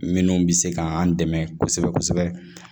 Minnu bɛ se k'an dɛmɛ kosɛbɛ kosɛbɛ